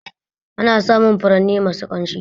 Ana samun furanni masu ƙamshi